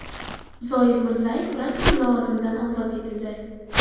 Zoir Mirzayev rasman lavozimidan ozod etildi.